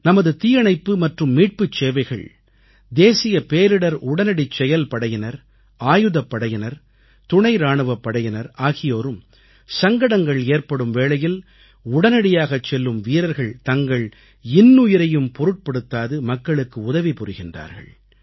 நமது தீயணைப்பு மற்றும் மீட்புச் சேவைகள் தேசிய பேரிடர் உடனடிச் செயல்படையினர் ஆயுதப்படையினர் துணை இராணுவப் படையினர் ஆகியோரும் சங்கடங்கள் ஏற்படும் வேளையில் உடனடியாகச் செல்லும் வீரர்கள் தங்கள் இன்னுயிரையும் பொருட்படுத்தாது மக்களுக்கு உதவி புரிகின்றார்கள்